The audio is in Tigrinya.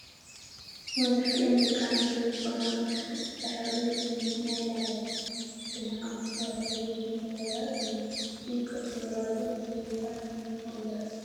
መብዛሕትኤን ደቂ ኣንስትዮ ዝኮና ብታሕቲ ፃዕዳ ሕብሪ ሸሚዝ ናይ ላዕሊ ድማ ሓሞክሽታይ ሕብሪ ዝበራ እቱይ ከፍ ዝበላሉ እንታይ ይብሃል ሽሙ?